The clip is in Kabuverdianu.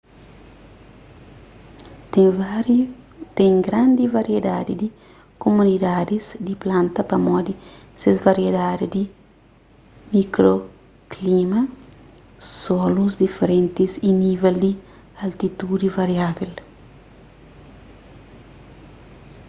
ten un grandi variedadi di komunidadis di planta pamodi ses variedadi di mikroklima solus diferentis y nivel di altitudi variável